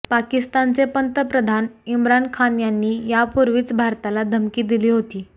पाकिस्तानचे पंतप्रधान इम्रान खान यांनी यापूर्वीच भारताला धमकी दिली होती